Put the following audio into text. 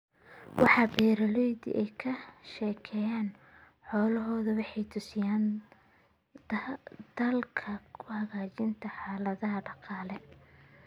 Waxa beeralaydu ay ka sheegaan xoolahooda waxay tusinaysaa dadaalka lagu hagaajinayo xaaladaha dhaqaale.